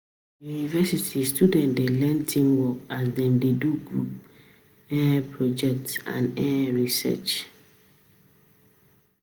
For university, students dey learn teamwork as Dem dey do group um project and um research.